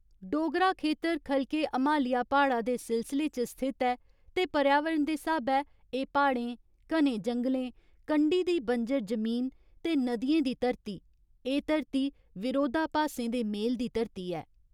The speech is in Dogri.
डोगरा खेतर ख'लके हमालिया प्हाड़ा दे सिलसिले च स्थित ऐ ते पर्यावरण दे स्हाबै एह् प्हाड़ें, घने जंगलें, कंढी दी बंजर जमीन ते नदियें दी धरती एह् धरती विरोधाभासें दे मेल दी धरती ऐ।